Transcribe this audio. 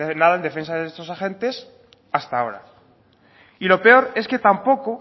nada en defensa de estos agentes hasta ahora y lo peor es que tampoco